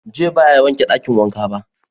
"Joy" ba ya wanke dakin wanka ba.